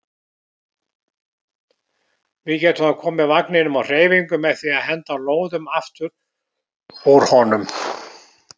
Við getum þá komið vagninum á hreyfingu með því að henda lóðum aftur úr honum.